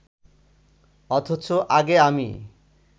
অথচ আগে আমি